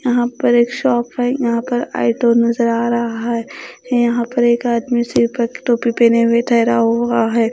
यहां पर एक शॉप है। यहां पर नजर आ रहा है। यहां पर एक आदमी सिर पर टोपी पहने हुए ठहरा हुआ है।